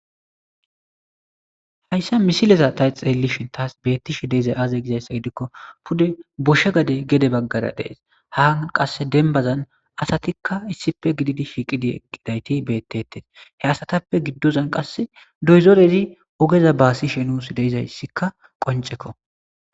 Haysa misilean ta xelishin tas betishe dizay aze gizaysa gidikko pude gosha gade gede bagara des ha qase denbazan asatikka issipe shiiqi eqidayti betese he asatape gidozan qase dozorezi ogeza basishe nus de'izaysikka qoncekko